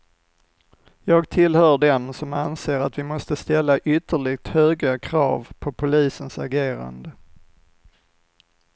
Jag tillhör dem som anser att vi måste ställa ytterligt höga krav på polisens agerande.